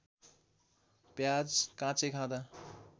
प्याज काँचै खाँदा